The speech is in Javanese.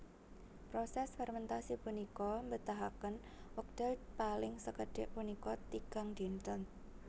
Proses fermentasi punika mbetahaken wekdal paling sekedhik punika tigang dinten